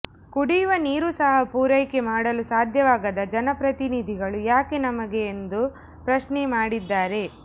ಕುಡಿಯುವ ನೀರು ಸಹ ಪೂರೈಕೆ ಮಾಡಲು ಸಾಧ್ಯವಾಗದ ಜನಪ್ರತಿನಿಧಿಗಳು ಯಾಕೆ ನಮಗೆ ಎಂದು ಪ್ರಶ್ನೆ ಮಾಡಿದ್ದಾರೆ